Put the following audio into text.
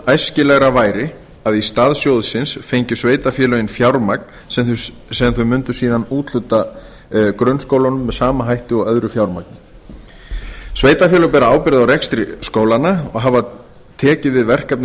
æskilegra væri að í stað sjóðsins fengju sveitarfélögin fjármagn sem þau mundu síðan úthluta grunnskólunum með sama hætti og öðru fjármagni sveitarfélög bera ábyrgð á rekstri skólanna og hafa tekið við verkefnum